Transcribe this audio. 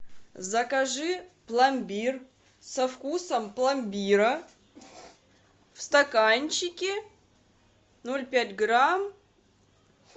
закажи пломбир со вкусом пломбира в стаканчике ноль пять грамм